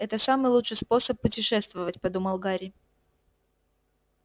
это самый лучший способ путешествовать подумал гарри